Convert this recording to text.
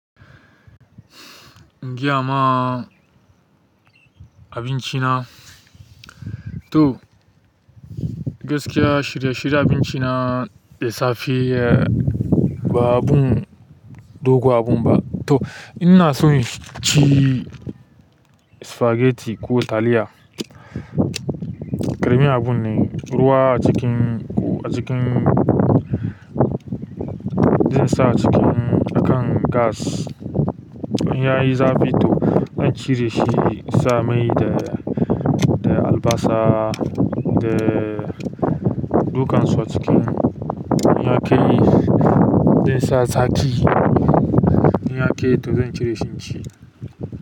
Jiya ma abinci na. Toh gaskiya shirye shiryen abinci na, da safe ba abun dogo abun ba. Toh in ina so in ci spaghetti ko taliya. Ƙarami abun ne ruwa ackin. Acikin. Zai sa cikin akan gas. In ya yi zafi toh zan cire shi in sa mai da, da albasa da dukan su a cikin. In ya kai, zai sa saki. In ya kai to zan cire shi in ci.